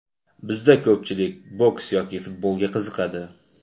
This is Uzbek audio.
Bizda ko‘pchilik boks yoki futbolga qiziqadi.